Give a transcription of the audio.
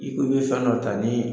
I ko i be fɛn dɔ ta nii